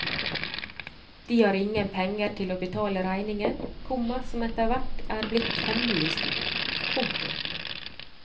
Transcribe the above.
De har ingen penger til å betale regningen, komma som etterhvert er blitt temmelig stor. punktum